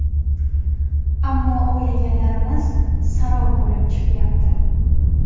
Ammo o‘ylaganlarimiz sarob bo‘lib chiqyapti.